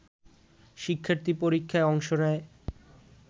শিক্ষার্থী পরীক্ষায় অংশ নেয়